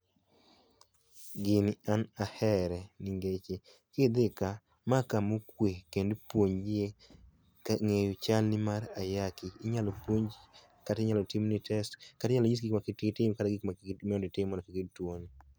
Gini an ahere, ningeche ki idhi ka ma kama okwe endo ipuonjie e ngeyo chal ni mar ayaki kata timni test, kata inyalo nyisi gik makik itim kata ma mondo itim mondo kik iyud tuo ni.